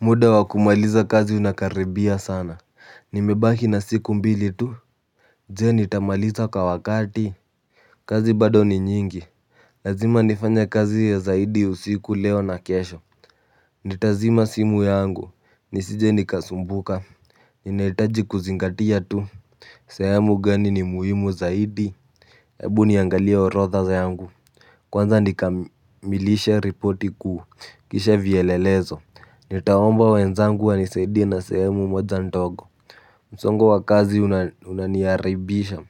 Muda wa kumaliza kazi unakaribia sana, nimebaki na siku mbili tu. Je, nitamaliza kw wakati? Kazi bado ni nyingi, lazima nifanye kazi ya zaidi usiku leo na kesho. Nitazima simu yangu, nisije nikasumbuka, ninaitaji kuzingatia tu. Sehemu gani ni muhimu zaidi. Ebu niangalia orodha yangu. Kwanza nikamilishe ripoti kuu, kisha vyelelezo. Nitaomba wenzangu wanisaidie na sehemu moja ndogo. Msongo wa kazi unaniaribisha,